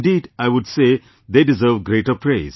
Indeed, I would say they deserve greater praise